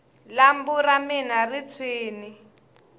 lambu ra mina ri tshwini